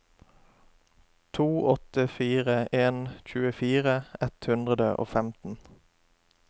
to åtte fire en tjuefire ett hundre og femten